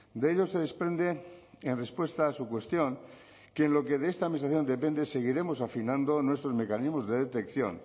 de ello se desprende en respuesta a su cuestión que lo que de esta administración depende seguiremos afinando nuestros mecanismos de detección